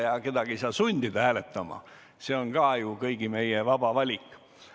Ja kedagi ei saa sundida hääletama, see on ka ju kõigi meie vaba valik.